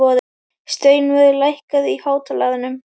Steinvör, lækkaðu í hátalaranum.